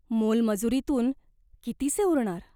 मोलमजुरीतून कितीसे उरणार?